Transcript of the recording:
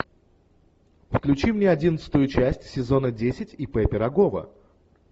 включи мне одиннадцатую часть сезона десять ип пирогова